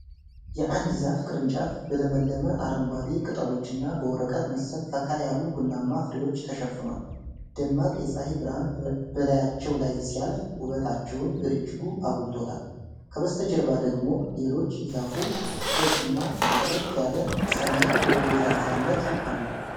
የአንድ ዛፍ ቅርንጫፍ በለምለም አረንጓዴ ቅጠሎችና በወረቀት መሰል፣ ፈካ ያሉ ቡናማ ፍሬዎች ተሸፍኗል። ደማቅ የፀሐይ ብርሃን በላያቸው ላይ ሲያርፍ ውበታቸውን በእጅጉ አጉልቶታል። ከበስተጀርባ ደግሞ ሌሎች የዛፉ ክፍሎችና ጥርት ያለ ሰማይ በደብዛዛነት አሉ።